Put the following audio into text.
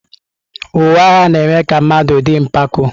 Uwe agha na-eme ka mmadụ dị mpako.